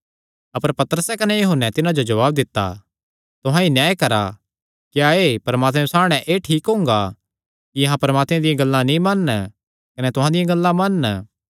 अपर पतरसे कने यूहन्ने तिन्हां जो जवाब दित्ता तुहां ई न्याय करा क्या एह़ परमात्मे सामणै एह़ ठीक हुंगा कि अहां परमात्मे दियां गल्लां नीं मनन कने तुहां दियां गल्लां मनन